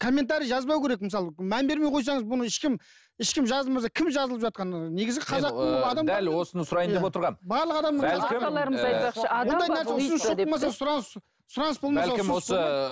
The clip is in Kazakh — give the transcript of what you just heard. комментарий жазбау керек мысалы мән бермей қойсаңыз бұны ешкім ешкім жазылмаса кім жазылып жатқан ыыы